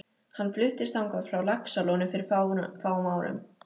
Hann fluttist þangað frá Laxalóni fyrir fáum árum.